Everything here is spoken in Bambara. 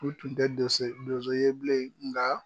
U tun tɛ donse donso ye bilen nka.